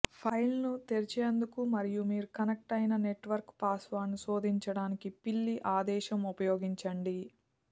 ఫైల్ను తెరిచేందుకు మరియు మీరు కనెక్ట్ అయిన నెట్వర్క్కు పాస్వర్డ్ను శోధించడానికి పిల్లి ఆదేశం ఉపయోగించండి